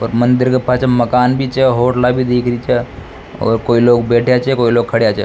और मंदिर के पाछ मकान भी छ होटला भी दिख रही छ और कोई लोग बैठा छ कोई लोग खड़ा छ।